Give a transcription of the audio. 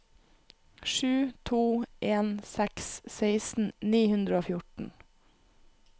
sju to en seks seksten ni hundre og fjorten